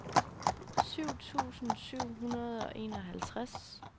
syv tusind syv hundrede og enoghalvtreds